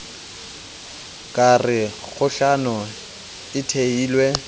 ka re kgohlano e thehilwe